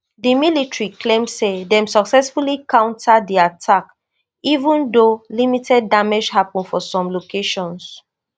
di military claim say dem successfully counter di attacks even though limited damage happun for some locations